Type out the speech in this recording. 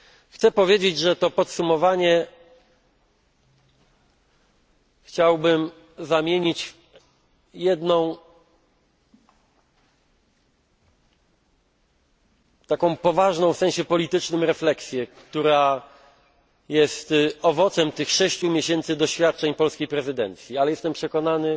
Chcę powiedzieć, że to podsumowanie chciałbym zamienić w jedną taką poważną w sensie politycznym refleksję, która jest owocem tych sześciu miesięcy doświadczeń polskiej prezydencji ale jestem przekonany,